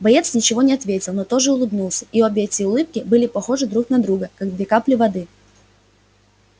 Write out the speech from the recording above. боец ничего не ответил но тоже улыбнулся и обе эти улыбки были похожи друг на друга как две капли воды